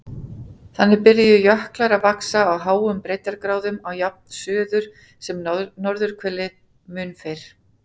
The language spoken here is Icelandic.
Þannig byrjuðu jöklar að vaxa á háum breiddargráðum á jafnt suður- sem norðurhveli mun fyrr.